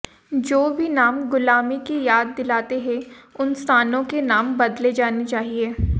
जो भी नाम गुलामी की याद दिलाते हैं उन स्थानों के नाम बदले जाने चाहिए